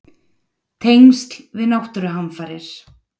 Tengsl við náttúruhamfarir?